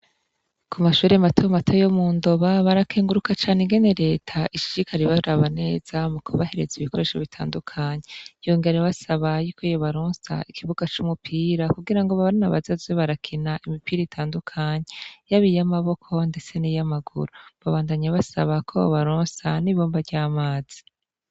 Ku mashore mata mate yo mu ndoba barakenguruka cane igene leta ishirikali bari abaneza mu kubahereza ibikoresho bitandukanyi yongeare basaba yuko iyebaronsa ikibuga c'umupira kugira ngo babarina bazaze barakina imipira itandukanyi yab iyoamaboko, ndetse n'iyo amaguru babandanye basaba ko bobaronsa ni boba ro aamazi.